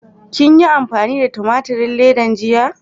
Kin yi amfani da tumaturin ledan jiya?